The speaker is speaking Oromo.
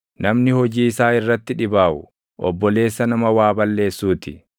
Namni hojii isaa irratti dhibaaʼu, obboleessa nama waa balleessuu ti.